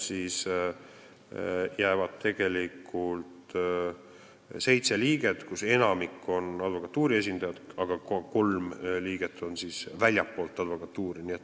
Nii et seitse liiget, kellest enamik on advokatuuri esindajad, aga kolm liiget on väljastpoolt advokatuuri.